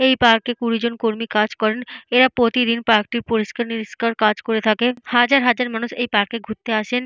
এই পার্কে কুড়িজন কর্মী কাজ করেন। এরা প্রতিদিন পার্ক -টি পরিষ্কার নিবিস্কার কাজ করে থাকে। হাজার হাজার মানুষ এই পার্কে ঘুরতে আসেন।